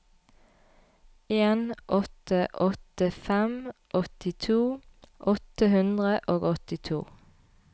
en åtte åtte fem åttito åtte hundre og åttito